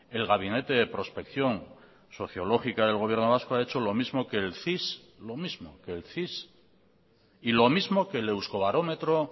el gabinete de prospección sociológica del gobierno vasco ha hecho lo mismo que el cis lo mismo que el cis y lo mismo que el euskobarometro